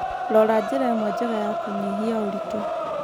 Rora njĩra ĩmwe njega ya kũnyihia ũritũ.